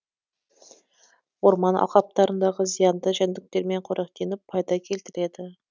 орман алқаптарындағы зиянды жәндіктермен қоректеніп пайда келтіреді